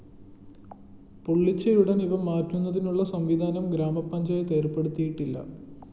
പൊളിച്ചയുടന്‍ ഇവ മാറ്റുന്നതിനുള്ള സംവിധാനം ഗ്രാമപഞ്ചായത്ത് ഏര്‍പ്പെടുത്തിയിട്ടില്ല